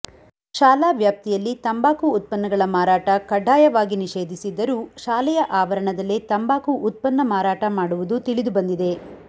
ಶಾಲಾ ವ್ಯಾಪ್ತಿಯಲ್ಲಿ ತಂಬಾಕು ಉತ್ಪನ್ನಗಳ ಮಾರಾಟ ಕಡ್ಡಾಯವಾಗಿ ನಿಷೇಧಿಸಿದ್ದರೂ ಶಾಲೆಯ ಆವರಣದಲ್ಲೇ ತಂಬಾಕು ಉತ್ಪನ್ನ ಮಾರಾಟ ಮಾಡುವುದು ತಿಳಿದುಬಂದಿದೆ